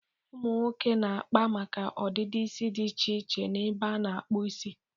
Ụmụ nwoke na-akpa maka ọdịdị isi dị iche iche n'ebe a na-akpu isi.